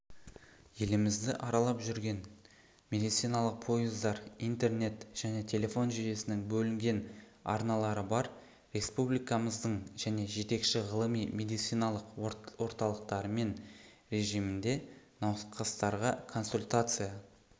елімізді аралап жүрген медициналық пойыздар интернет және телефон жүйесінің бөлінген арналары бар республикамыздың және жетекші ғылыми медициналық орталықтарымен режимінде науқастарға консультация